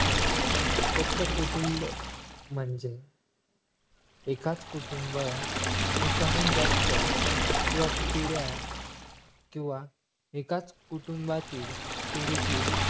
एकत्र कुटुंब म्हणजे एकाच कुटुंब एकाहून जास्त किंवा पिढ्या किंवा एकाच कुटुंबातील पिढीतील